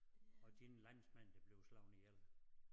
Og dine landsmænd der bliver slået ihjel